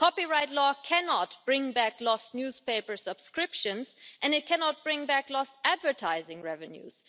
Copyright law cannot bring back lost newspaper subscriptions and it cannot bring back lost advertising revenues.